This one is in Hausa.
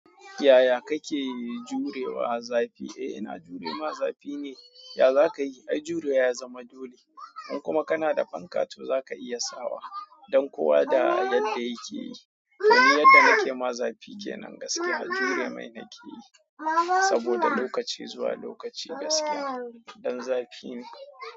Yaya kake jurewa zafi? Eh ina jure ma zafi ne, ya za ka yi? Ai jurewa ya zama dole. In kuma kana da fanka to za ka iya sawa don kowa da yadda yake yi. To ni yadda nake ma zafi kenan gaskiya jure mai nake yi saboda lokaci zuwa lokaci gaskiya ɗan zafi ne.